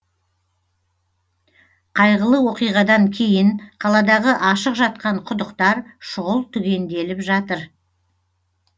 қайғылы оқиғадан кейін қаладағы ашық жатқан құдықтар шұғыл түгенделіп жатыр